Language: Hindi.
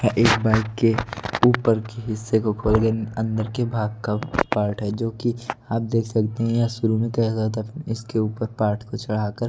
एक बाइक के ऊपर के हिस्से को खोल के अंदर के भाग का पार्ट है जो कि आप देख सकते हैं ये शुरू में कैसा था इसके ऊपर पार्ट को चढ़ाकर--